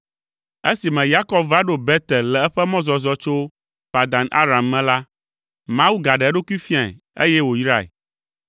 Esime Yakob va ɖo Betel le eƒe mɔzɔzɔ tso Padan Aram me la, Mawu gaɖe eɖokui fiae, eye wòyrae.